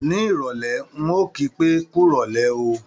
Ní ìrọ̀lé, ń ò kí pé, "kú rọ̀lé o"